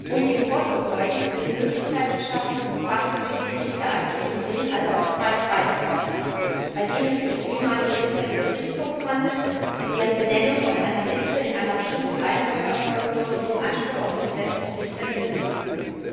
Um dem vorzubeugen, wird die Möglichkeit geschaffen, diesem Fachgericht Richter ad interim also auf Zeit beizuordnen, bei denen es sich um ehemalige Richter des Gerichtshofs handelt und deren Benennung aus einer Liste in einer bestimmten Reihenfolge erfolgen soll, um dem Anspruch auf den gesetzlichen Richter Genüge zu tun.